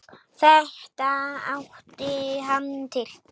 Þetta átti hann til.